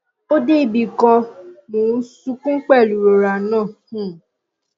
ó dé ibì kan mò ń sunkún pẹ̀lú ìrora náà um